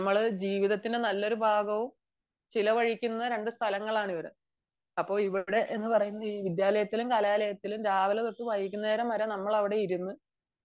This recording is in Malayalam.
നമ്മൾ ജീവിതത്തിന്റെ നല്ലൊരു ഭാഗവും ചിലവഴിക്കുന്ന രണ്ടു സ്ഥലങ്ങളാണ് ഇത് . അപ്പോൾ ഇവിടെ എന്ന് പറയുന്നത് വിദ്യാലയത്തിലും കലാലയത്തിലും രാവിലെ തൊട്ടു വൈകുന്നേരം വരെ നമ്മൾ അവിടെ ഇരുന്നു